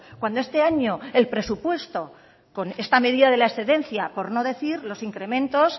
cuando este año el presupuesto con esta medida de la excedencia por no decir los incrementos